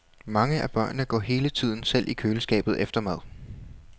Mange af børnene går hele tiden selv i køleskabet efter mad.